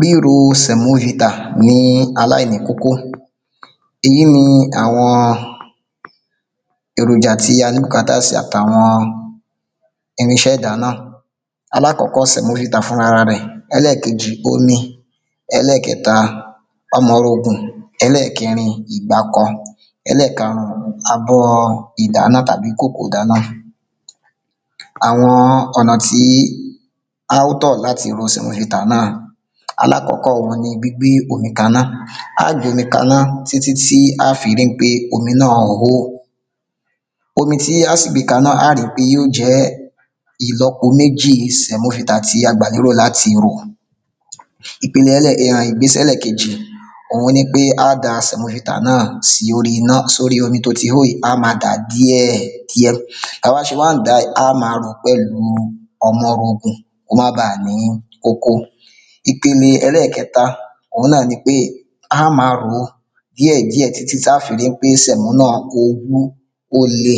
Ríro sẹ̀mó ità ní aláìkókó ìyi ni àwọn èròjà ta ní bùkátà sí àtàwọn irinṣẹ́ ìdáná alákọ́kọ́ sẹ̀mó vità fún ara rẹ̀ sẹmo vità fún ara rẹ̀ ẹlẹ́kejì omi ẹlẹ́kẹta ọmọrogùn ẹlẹkẹrin ìgbákọ ẹlẹ́karùn-ún àbo ìdáná tàbíkòkò ìdáná àwọn ọ̀nà tí a ó tọ̀ láti ro sẹ̀mó vità náà alákọ́kọ́ wọn ni gbígbé omi kaná á gbé omi kaná ti tí á fi rí ń pé omi náà hó omi tí á sì gbé kaná á rí pé yóò jẹ́ ìlọpo méjì sẹ̀mó vità tí a gbà lérò láti rò um ìgbésẹ̀ ẹlẹ́kejì òun ni pé á da sẹ̀mó vità náà sí orí omi tó ti hó yí á ma dà díẹ̀ diẹ̀ ta wá ṣe wá dá yí á ma rò pẹ̀lú ọmọrogùn kó má baà ní kókó ìpele ẹlẹ́kẹta òun ni pé a ma ròó díẹ̀ díẹ̀ tí tí táa fi rí ń pé sẹ̀mó náà ó wú ó le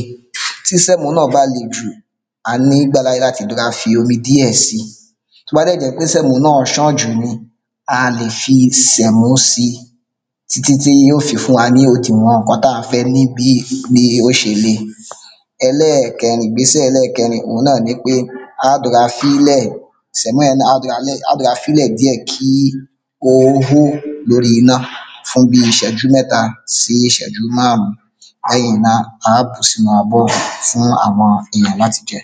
tí sẹ̀mó náà bá le jù a ní ìgbàláyè láti rora fi omi díẹ̀ si tó bá dẹ̀ jẹ́ pé sẹ̀mó náà ṣàn jù ni a lè fi sẹ̀mó si tí tí tí yóò fi fún wa ní òdìwọn ǹkan táa fẹ́ ní bí yí ò ṣe le. ẹlẹ́kẹrin ìgbésẹ̀ ẹlẹ́kẹrin òun ni pé a dọra fílè sẹ̀mó náà a dọra fílè díẹ̀ kí kó hó lórí iná fún bí ìṣẹ́jú mẹta sí ìṣẹ́jú márún lẹ́yìn náà a bù sínú abọ́ fún àwọn ìdílé láti jẹ